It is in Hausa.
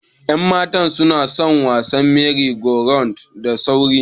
Yan matan sunason wasan mery go round da sauri.